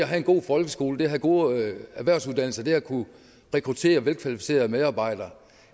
have en god folkeskole det at have gode erhvervsuddannelser det at kunne rekruttere velkvalificerede medarbejdere